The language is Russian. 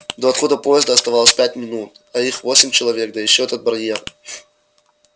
до отхода поезда оставалось пять минут а их восемь человек да ещё этот барьер